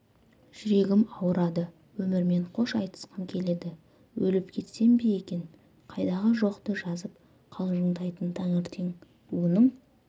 жүрегім ауырады өмірмен қош айтысқым келеді өліп кетсем бе екен қайдағы-жоқты жазып қалжыңдайтын таңертең оның